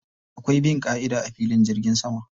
Akwai bin ƙa'ida a filin jirgin sama.